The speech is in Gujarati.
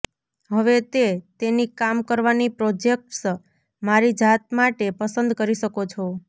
હવે તે તેની કામ કરવાની પ્રોજેક્ટ્સ મારી જાત માટે પસંદ કરી શકો છો